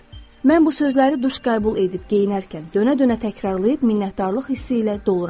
Mən bu sözləri duş qəbul edib geyinərkən dönə-dönə təkrarlayıb minnətdarlıq hissi ilə doluram.